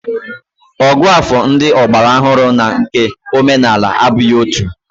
Ògụ́àfọ̀ ndị ọgbaraọhụrụ na nke omenala abụghị otu